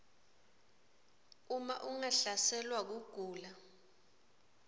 uma ungahlaselwa kugula